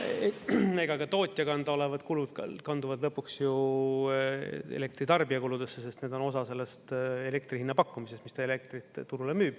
Ega ka tootja kanda olevad kulud kanduvad lõpuks ju elektritarbija kuludesse, sest need on osa sellest elektrihinna pakkumisest, mis ta elektrit turule müüb.